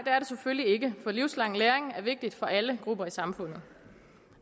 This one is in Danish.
er det selvfølgelig ikke for livslang læring er vigtig for alle grupper i samfundet